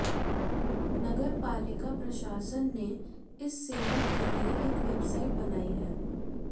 नगरपालिका प्रशासन ने इस सेवा के लिए एक वेबसाइट बनाई है